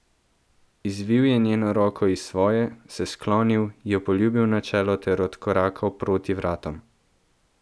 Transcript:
Izvil je njeno roko iz svoje, se sklonil, jo poljubil na čelo ter odkorakal proti vratom.